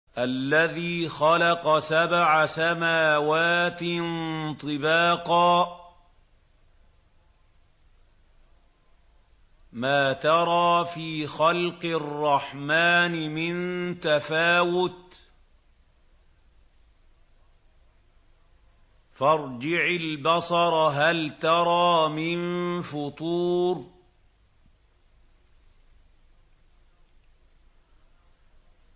الَّذِي خَلَقَ سَبْعَ سَمَاوَاتٍ طِبَاقًا ۖ مَّا تَرَىٰ فِي خَلْقِ الرَّحْمَٰنِ مِن تَفَاوُتٍ ۖ فَارْجِعِ الْبَصَرَ هَلْ تَرَىٰ مِن فُطُورٍ